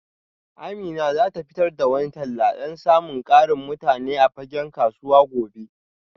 Amina za ta fitar da wani talla don samun ƙarin mutane a fagen kasuwa gobe